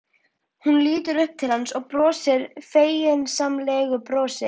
Hún lítur upp til hans og brosir feginsamlegu brosi.